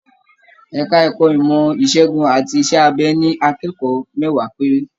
Ẹka ẹ̀kọ́ ìmọ ìsègùn àti iṣẹ abẹ ní akẹ́kọ̀ọ́ mẹwa péré.